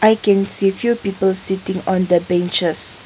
i can see you people sitting on the picture.